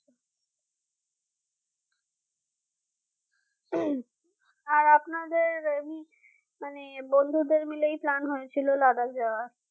আর আপনাদের এমনি মানে বন্ধুদের মিলে plan হয়েছিল Ladak যাওয়া